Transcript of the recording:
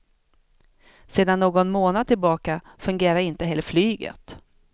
Sedan någon månad tillbaka fungerar inte heller flyget.